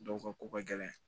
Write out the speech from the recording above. Dɔw ka ko ka gɛlɛn